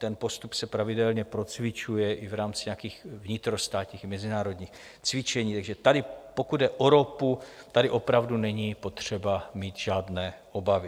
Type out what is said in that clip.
Ten postup se pravidelně procvičuje i v rámci nějakých vnitrostátních i mezinárodních cvičení, takže tady, pokud jde o ropu, tady opravdu není potřeba mít žádné obavy.